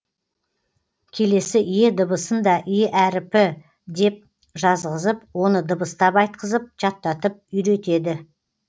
келесі е дыбысын да е әріпі деп жазғызып оны дыбыстап айтқызып жаттатып үйретеді